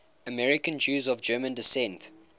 american jews of german descent